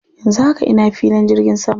Yanzu haka ina filin jirgin sama.